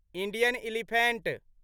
Indian elephant